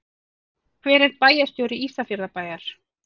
Hver er bæjarstjóri Ísafjarðarbæjar?